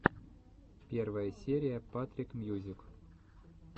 первая серия патрик мьюзик